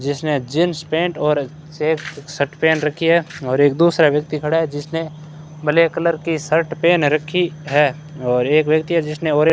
जिसने jeans pant और सिर्फ शर्ट पहन रखी है और एक दूसरा व्यक्ति खड़ा है जिसने ब्लैक कलर की शर्ट पहन रखी है और एक व्यक्ति है जिसने ऑरें --